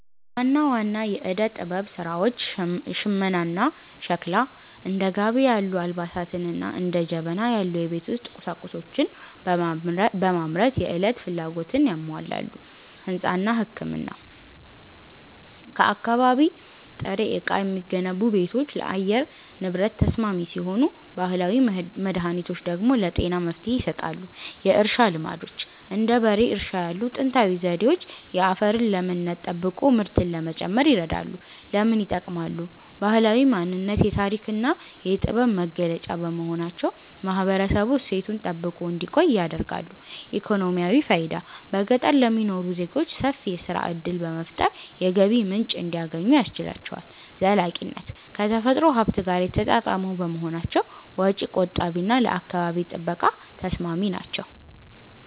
ዋና ዋና የዕደ-ጥበብ ሥራዎች ሽመናና ሸክላ፦ እንደ ጋቢ ያሉ አልባሳትንና እንደ ጀበና ያሉ የቤት ውስጥ ቁሳቁሶችን በማምረት የዕለት ፍላጎትን ያሟላሉ። ሕንጻና ሕክምና፦ ከአካባቢ ጥሬ ዕቃ የሚገነቡ ቤቶች ለአየር ንብረት ተስማሚ ሲሆኑ፣ ባህላዊ መድኃኒቶች ደግሞ ለጤና መፍትሔ ይሰጣሉ። የእርሻ ልማዶች፦ እንደ በሬ እርሻ ያሉ ጥንታዊ ዘዴዎች የአፈርን ለምነት ጠብቆ ምርትን ለመጨመር ይረዳሉ። ለምን ይጠቅማሉ? ባህላዊ ማንነት፦ የታሪክና የጥበብ መገለጫ በመሆናቸው ማህበረሰቡ እሴቱን ጠብቆ እንዲቆይ ያደርጋሉ። ኢኮኖሚያዊ ፋይዳ፦ በገጠር ለሚኖሩ ዜጎች ሰፊ የሥራ ዕድል በመፍጠር የገቢ ምንጭ እንዲያገኙ ያስችላቸዋል። ዘላቂነት፦ ከተፈጥሮ ሀብት ጋር የተጣጣሙ በመሆናቸው ወጪ ቆጣቢና ለአካባቢ ጥበቃ ተስማሚ ናቸው።